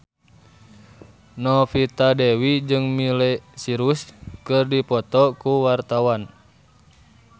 Novita Dewi jeung Miley Cyrus keur dipoto ku wartawan